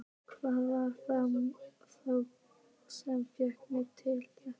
Hvað var það þá sem fékk mig til þess?